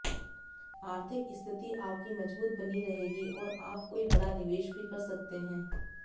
आर्थिक स्थिति आपकी मजबूत बनी रहेगी और आप कोई बड़ा निवेश भी कर सकते हैं